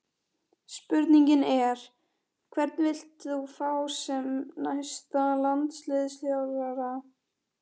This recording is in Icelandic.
Spurningin er: Hvern vilt þú fá sem næsta landsliðsþjálfara?